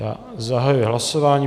Já zahajuji hlasování.